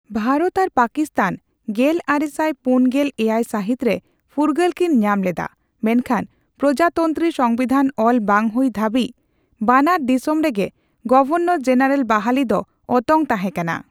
ᱵᱷᱟᱨᱚᱛ ᱟᱨ ᱯᱟᱠᱤᱥᱛᱷᱟᱱ ᱜᱮᱞᱟᱨᱮᱥᱟᱭ ᱯᱩᱱᱜᱮᱞ ᱮᱭᱟᱭ ᱥᱟᱹᱦᱤᱛ ᱨᱮ ᱯᱷᱩᱨᱜᱟᱹᱞ ᱠᱤᱱ ᱧᱟᱢ ᱞᱮᱫᱟ, ᱢᱮᱱᱠᱷᱟᱱ ᱯᱨᱚᱡᱟᱛᱚᱱᱛᱨᱤ ᱥᱚᱝᱵᱤᱫᱷᱟᱱ ᱚᱞ ᱵᱟᱝ ᱦᱩᱭ ᱫᱷᱟᱹᱵᱤᱡ ᱵᱟᱱᱟᱨ ᱰᱤᱥᱚᱢ ᱨᱮᱜᱮ ᱜᱚᱵᱷᱚᱨᱱᱚᱨᱼᱡᱮᱱᱟᱨᱮᱞ ᱵᱟᱦᱟᱞᱤ ᱫᱚ ᱚᱛᱚᱝ ᱛᱟᱦᱮᱸᱠᱟᱱᱟ ᱾